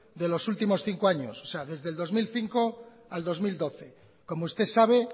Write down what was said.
de los últimos cinco años o sea desde el dos mil cinco al dos mil doce como usted sabe